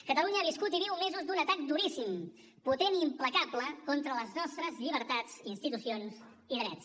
catalunya ha viscut i viu mesos d’un atac duríssim potent i implacable contra les nostres llibertats institucions i drets